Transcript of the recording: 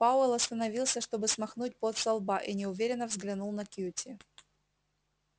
пауэлл остановился чтобы смахнуть пот со лба и неуверенно взглянул на кьюти